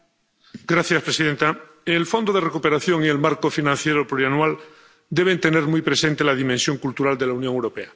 Señora presidenta, el fondo de recuperación y el Marco Financiero Plurianual deben tener muy presente la dimensión cultural de la Unión Europea.